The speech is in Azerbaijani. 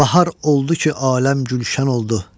Bahar oldu ki, aləm gülşən oldu.